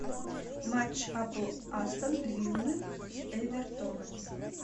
матч апл астон виллы с эвертоном